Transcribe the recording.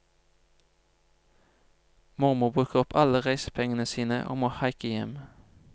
Mormor bruker opp alle reisepengene sine og må haike hjem.